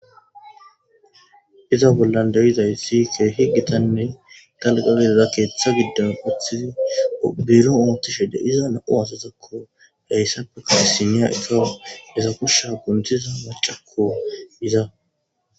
iza bollan de7izaysi ke higitanne galgagezeza keeththa giddon quthizi obero ootishe de iza nao azazakko hayssappe kaasiniya ikawa desa kushsha guntiza macakko iza.